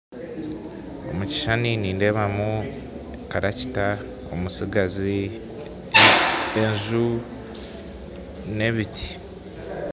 Omu kishushani nindeebamu karakita omutsigazi, enju n'emiti.